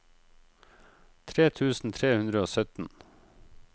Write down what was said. tre tusen tre hundre og sytten